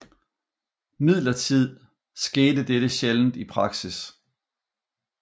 Imidlertid skete dette sjældent i praksis